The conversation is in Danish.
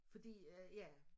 Fordi øh ja